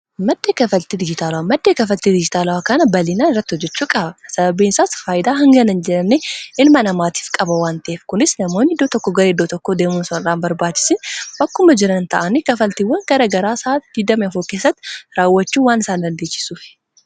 Maddi kaffaltii dijitaalawa maddeen kafaltii dijitaalaaa kana bal'inaan irratti hojjechuu qaba. sababiin isaas faayidaa hangana jiran ilma namaatiif qaba waan ta'eef . kunis namoonni iddoo tokko gara iddoo tokkoo deemuun osoo hin barbaachisin bakkuma jiran ta'ani kaffaltiiwwan gara garaa isaanii keessatti raawwachuu waan isaan dandeechisuuf.